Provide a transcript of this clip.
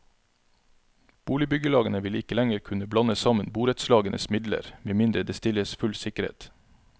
Boligbyggelagene vil ikke lenger kunne blande sammen borettslagenes midler, medmindre det stilles full sikkerhet.